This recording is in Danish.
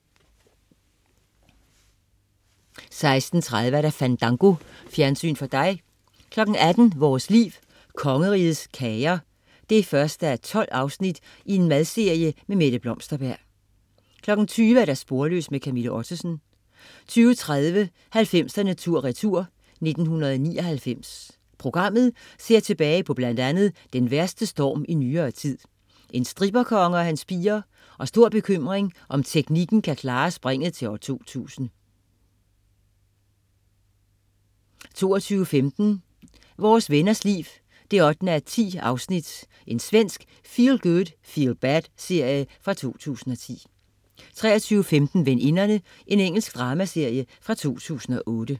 16.30 Fandango. Fjernsyn for dig 18.00 Vores Liv: Kongerigets Kager 1:12. Madserie. Mette Blomsterberg 20.00 Sporløs. Camilla Ottesen 20.30 90'erne tur retur: 1999. Programmet ser tilbage på bl.a. den værste storm i nyere tid, en stripperkonge og hans piger, og stor bekymring om teknikken kan klare springet til år 2000! 22.15 Vore Venners Liv 8:10. Svensk feelgood-feelbad-serie fra 2010 23.15 Veninderne. Engelsk dramaserie fra 2008